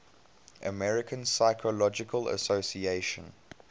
american psychological association